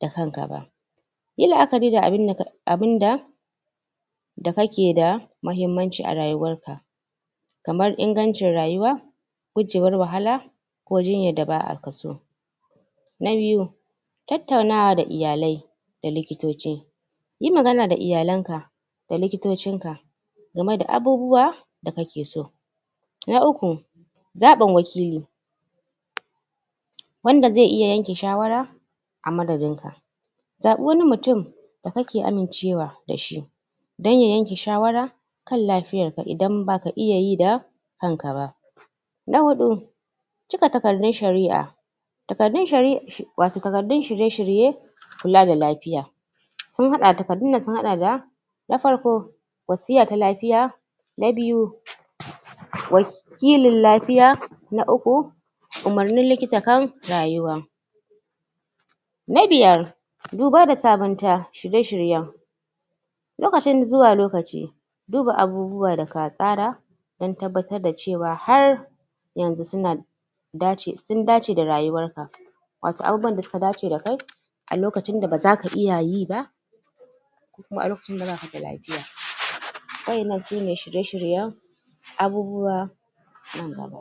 da kanka ba yi la'akari da abin da da kake da mahimmanci a rayuwar ka kamar ingancin rayuwa gujewar wahala ko jinyar da ba'a so na biyu [2] tattaunawada iyale da likitoci yi magana da iyalan ka da likitocin ka gamai da abubuwa da kake so na uku [3] zabun wakili wanda zai iya yanke shawara a madadinka a madadinka zabi wani mutum da kake amincewa da shi dan ya yanye shawara kan kan lafiyarka in baka iya yi da kanka ba na hudu [4] cika takardun shari'i wato takardun shirye-shirye kula da lafiya takardunnan sun hada da na farko [1] wasiya ta laqfiya a biyu [2] wakilin lafiya na uku [3] umurnin likita kan rayuwa na hudu [4] duba da sabanta shirye-shirysn lokaci zuwa lokaci duba abu-buwan da ka tsara dan tabbatar da cewa har yanzu suna dace da rayuwarka watoabu-bubun da suka dace da kaie da kai a lokacin da ba zaka iya yi ba ko kuma alokacin da baka da lafiya wadannan sune shirye-shiryen abubuwa nan daba